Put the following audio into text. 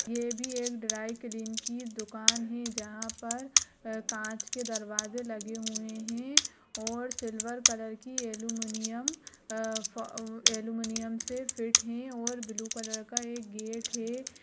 ये भी एक ड्राई क्लीन की दुकान है जहाँ पर अ काँच के दरवाजे लगे हुए हैं और सिल्वर कलर की अलुमुनियम अ फ अलमुनियम से फिट हैं और ब्लू कलर का एक गेट है।